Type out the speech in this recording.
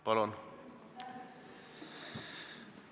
Palun!